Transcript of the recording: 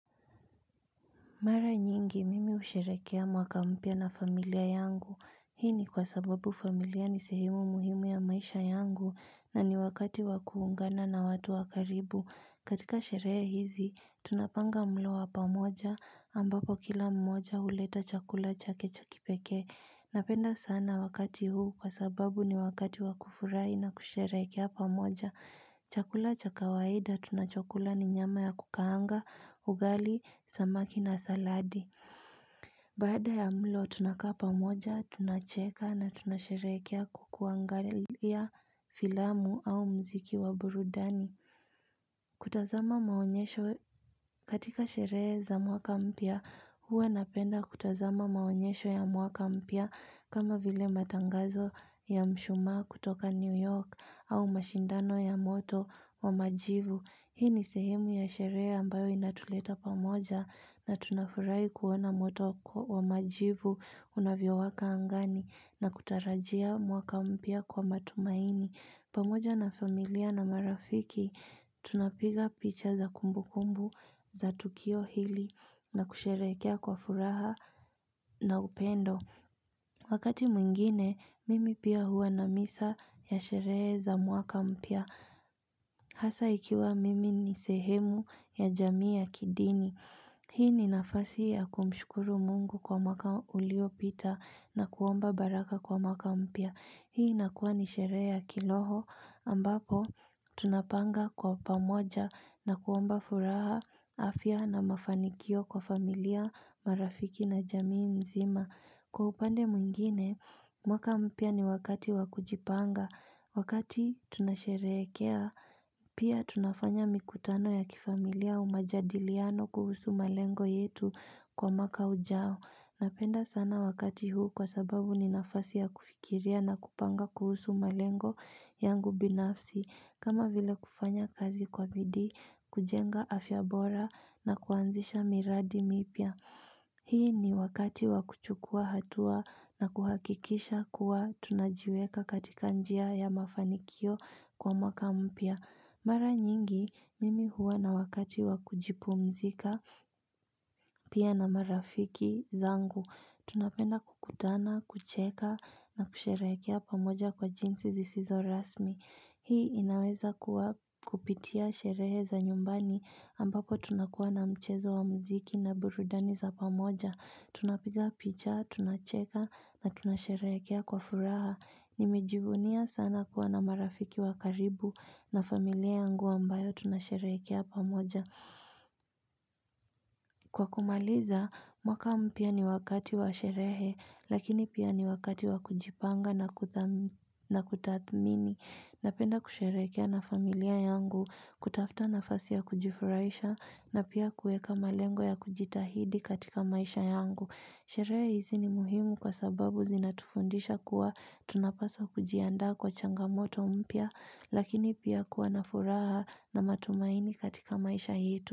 Mara nyingi, mimi usherekea mwaka mpya na familia yangu. Hii ni kwa sababu familia ni sehimu muhimu ya maisha yangu, na ni wakati wakuungana na watu wakaribu. Katika sheree hizi, tunapanga mloa wa pamoja, ambapo kila mmoja huleta chakula chake cha kipeke. Napenda sana wakati huu kwa sababu ni wakati wakufurai na kusherekea pamoja. Chakula cha kawaida tunachokula ni nyama ya kukaanga, ugali, samaki na saladi. Baada ya mlo tunakapa moja, tunacheka na tunasherekea kwakuangalia filamu au mziki wa burudani. Kutazama maonyesho katika sherehe za mwaka mpya, huwa napenda kutazama maonyesho ya mwaka mpya kama vile matangazo ya mshuma kutoka New York au mashindano ya moto wa majivu Hii ni sehemu ya sherea ambayo inatuleta pamoja na tunafurai kuona moto wa majivu unavyo waka angani na kutarajia mwaka umpya kwa matumaini pamoja na familia na marafiki tunapiga picha za kumbu kumbu za tukio hili na kusherekea kwa furaha na upendo Wakati mwingine, mimi pia hua na misa ya sherehe za mwaka mpya Hasa ikiwa mimi ni sehemu ya jamii ya kidini Hii ni nafasi ya kumshukuru mungu kwa mwaka ulio pita na kuomba baraka kwa maka mpya Hii inakuwa ni sherehe ya kiroho ambapo tunapanga kwa pamoja na kuomba furaha afya na mafanikio kwa familia marafiki na jamii mzima Kwa upande mwingine, mwaka mpya ni wakati wa kujipanga, wakati tunasherekea, pia tunafanya mikutano ya kifamilia au majadiliano kuhusu malengo yetu kwa mwaka ujao. Napenda sana wakati huu kwa sababu ni nafasi ya kufikiria na kupanga kuhusu malengo yangu binafsi, kama vile kufanya kazi kwa bidii, kujenga afyabora na kuanzisha miradi mipya. Hii ni wakati wakuchukua hatua na kuhakikisha kuwa tunajiweka katika njia ya mafanikio kwa mwaka mpya. Mara nyingi, mimi huwa na wakati wakuji pumzika pia na marafiki zangu. Tunapenda kukutana, kucheka na kusherekea pamoja kwa jinsi zisizo rasmi. Hii inaweza kupitia sherehe za nyumbani ambako tunakuwa na mchezo wa mziki na burudani za pamoja. Tunapiga picha, tunacheka na tunasherekea kwa furaha. Nime jivunia sana kuwa na marafiki wa karibu na familia yangu ambayo tunasherekea pamoja. Kwa kumaliza, mwaka mpya ni wakati wa sherehe, lakini pia ni wakati wa kujipanga na kutathmini. Napenda kusherekea na familia yangu, kutafuta nafasi ya kujifuraisha na pia kueka malengo ya kujitahidi katika maisha yangu. Sheree hizi ni muhimu kwa sababu zinatufundisha kuwa tunapaswa kujianda kwa changamoto umpya, lakini pia kuwa na furaha na matumaini katika maisha yetu.